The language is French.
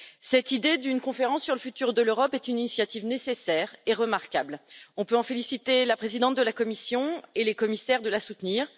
Cette idée d'une conférence sur l'avenir de l'Europe est une initiative nécessaire et remarquable on peut féliciter la présidente de la Commission et les commissaires de la soutenir.